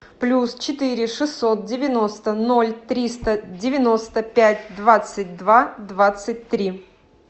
плюс четыре шестьсот девяносто ноль триста девяносто пять двадцать два двадцать три